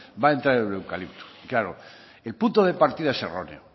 va a entrar el eucalipto y claro el punto de partida es erróneo